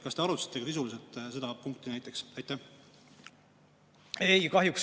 Kas te arutasite sisuliselt seda punkti?